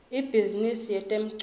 ibhizimisi yetemculo